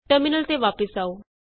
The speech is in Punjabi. ਟਰਮਿਨਲ ਤੇ ਵਾਪਸ ਆਉ